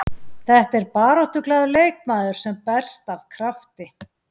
Þetta er baráttuglaður leikmaður sem berst af krafti.